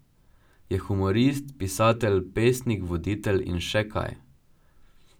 Je humorist, pisatelj, pesnik, voditelj in še kaj.